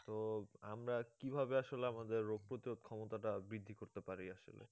তো আমরা কি ভাবে আসলে আমাদের রোগ প্রতিরোধ ক্ষমতাটা বৃদ্ধি করতে পারি আসলে